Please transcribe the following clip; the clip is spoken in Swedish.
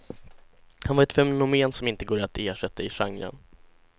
Han var ett fenomen, som inte går att ersätta i genren.